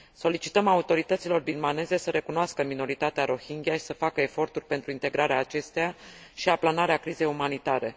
Solicităm autorităților birmaneze să recunoască minoritatea rohingya și să facă eforturi pentru integrarea acesteia și aplanarea crizei umanitare.